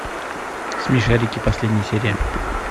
смешарики последняя серия